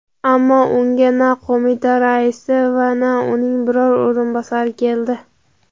Ammo unga na qo‘mita raisi va na uning biror o‘rinbosari keldi.